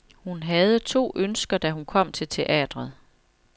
Hun havde to ønsker, da hun kom til teatret.